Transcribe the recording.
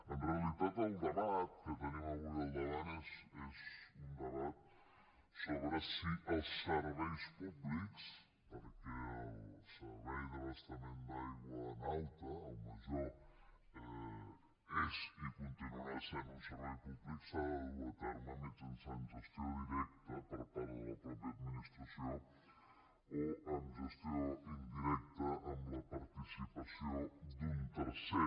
en realitat el debat que tenim avui al davant és un debat sobre si els serveis públics perquè el servei d’abastament d’aigua en alta al major és i continuarà sent un servei públic s’han de dur a terme mitjançant gestió directa per part de la mateixa administració o amb gestió indirecta amb la participació d’un tercer